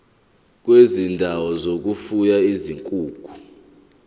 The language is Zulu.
kwezindawo zokufuya izinkukhu